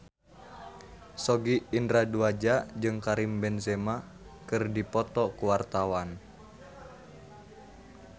Sogi Indra Duaja jeung Karim Benzema keur dipoto ku wartawan